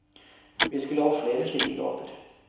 Vi skulle hatt flere slike gater.